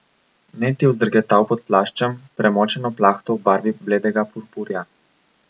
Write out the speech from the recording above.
Ned je vzdrgetal pod plaščem, premočeno plahto v barvi bledega purpurja.